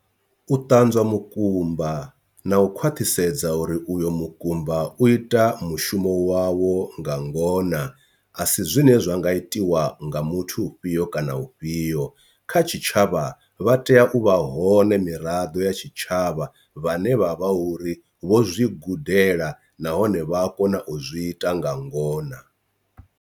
U ṱanzwa mukumba na u khwaṱhisedza uri uyo mukumba u ita mushumo wawo nga ngona asi zwine zwa nga itiwa nga muthu u fhiyo kana u fhiyo, kha tshitshavha vha tea u vha hone miraḓo ya tshitshavha vhane vha vha uri vho zwi gudela nahone vha a kona u zwi ita nga ngona.